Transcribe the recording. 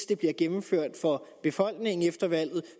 det bliver gennemført for befolkningen efter valget og